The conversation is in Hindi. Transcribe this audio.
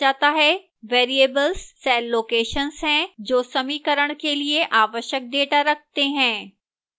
variables cell locations हैं जो समीकरण के लिए आवश्यक data रखते हैं